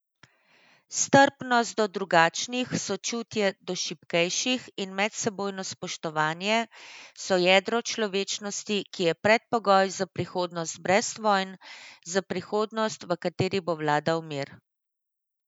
Strpnost do drugačnih, sočutje do šibkejših in medsebojno spoštovanje so jedro človečnosti, ki je predpogoj za prihodnost brez vojn, za prihodnost, v kateri bo vladal mir.